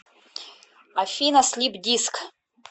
афина слип диск